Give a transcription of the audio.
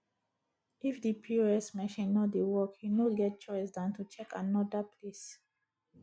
if di pos machine no dey work you no get choice than to check anoda place